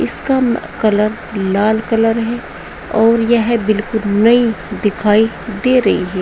इसका कलर लाल कलर है और यह बिल्कुल नई दिखाई दे रही है।